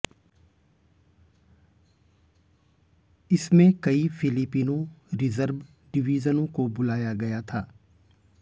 इसमें कई Filipino reserve डिवीजनों को बुलाया गया था